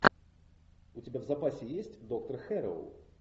у тебя в запасе есть доктор хэрроу